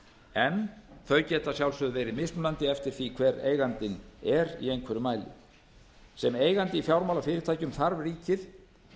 en þau geta að sjálfsögðu verið mismunandi eftir því háttvirtur er eigandinn er í einhverjum mæli sem eigandi í fjármálafyrirtækjum þarf ríkið